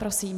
Prosím.